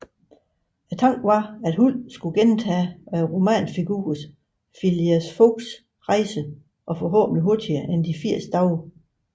Tanken var at Huld skulle gentage romanfiguren Phileas Foggs rejse og forhåbentlig hurtigere end de 80 dage